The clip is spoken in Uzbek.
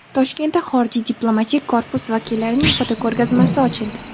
Toshkentda xorijiy diplomatik korpus vakillarining fotoko‘rgazmasi ochildi.